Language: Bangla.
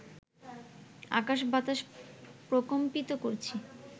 আকাশ বাতাস প্রকম্পিত করছি